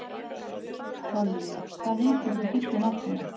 Þorri, hvað heitir þú fullu nafni?